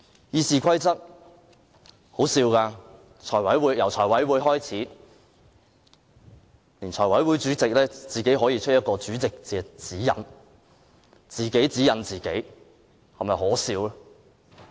《議事規則》是很可笑的，由財務委員會開始，財委會主席可以自行發出一份主席指引，是否可笑？